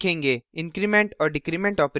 increment और decrement operators